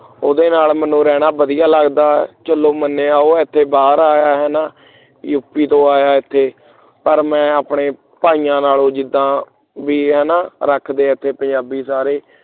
ਉਹਦੇ ਨਾਲ ਮੈਨੂੰ ਰਹਿਣਾ ਵਧੀਆ ਲਗਦਾ ਹੈ ਚਲੋ ਮੰਨਿਆ ਉਹ ਇੱਥੇ ਬਾਹਰ ਆਇਆ ਹੈ ਨਾ up ਤੋਂ ਆਇਆ ਏਥੇ ਪਰ ਮੈਂ ਆਪਣੇ ਭਾਈਆਂ ਨਾਲੋਂ ਜੁਦਾ ਬਈ ਏਥੇ ਰਖਦੇ ਐ ਪੰਜਾਬੀ ਸਾਰੇ